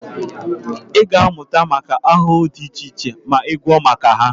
Ị ga-amụta maka ahụhụ dị iche iche ma ị gụọ maka ha